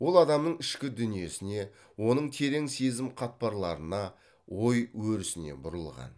ол адамның ішкі дүниесіне оның терең сезім қатпарларына ой өрісіне бұрылған